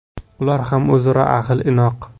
Ular ham o‘zaro ahil-inoq.